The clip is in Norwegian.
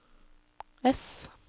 ess